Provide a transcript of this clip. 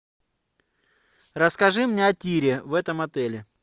расскажи мне о тире в этом отеле